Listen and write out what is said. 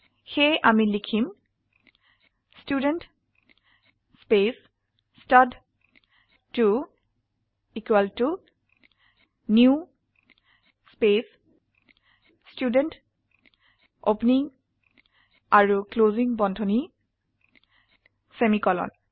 সেয়ে আমি লিখম student space stud two equal to new space student opening আৰু ক্লোসিং বন্ধনী সেমিকোলন